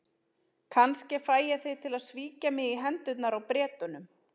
Kannski fæ ég þig til að svíkja mig í hendurnar á Bretunum.